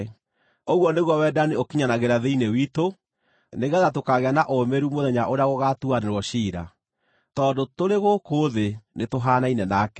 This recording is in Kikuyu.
Ũguo nĩguo wendani ũkinyanagĩra thĩinĩ witũ nĩgeetha tũkaagĩa na ũũmĩrĩru mũthenya ũrĩa gũgaatuanĩrwo ciira, tondũ tũrĩ gũkũ thĩ nĩ tũhaanaine nake.